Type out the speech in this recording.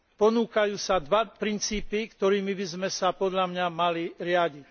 Ponúkajú sa dva princípy, ktorými by sme sa podľa mňa mali riadiť.